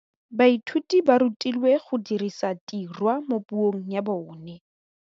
Baithuti ba rutilwe go dirisa tirwa mo puong ya bone.